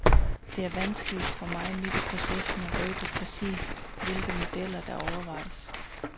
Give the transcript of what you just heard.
Det er vanskeligt for mig midt i processen at røbe præcis, hvilke modeller, der overvejes.